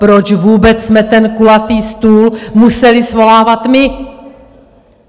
Proč vůbec jsme ten kulatý stůl museli svolávat my?